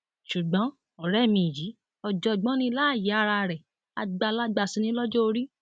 ṣùgbọn ọrẹ mi yìí ọjọgbọn ní láàyè ara rẹ àgbàlagbà sì ni lọjọ orí